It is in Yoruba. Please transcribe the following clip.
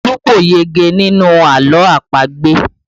Olu kò yege nínú àlọ́ àpagbè